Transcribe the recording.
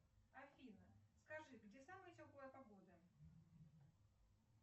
афина скажи где самая теплая погода